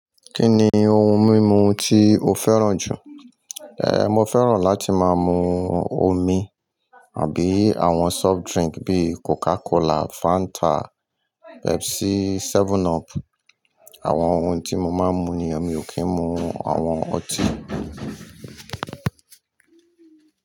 Kí ni ohun mímu tí o fẹ́ràn jù? Ehn, mo fẹ́ràn láti máa mu omi àbí àwọn soft drink bíi Coca-Cola, Fanta, Pepsi, Seven-Up. Àwọn ohun tí mo máa ń mu ni yẹn mi ò kí ń mu àwọn ọtí.